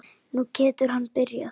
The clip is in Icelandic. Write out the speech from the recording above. Nú getur hann byrjað.